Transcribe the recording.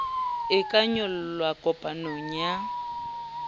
e ka nyollelwa kopong ya